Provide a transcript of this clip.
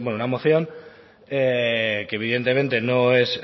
una moción que evidentemente no es